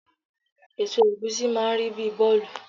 Èso ẹ̀gúsí máà ń rí bíi bọ́ọ̀lù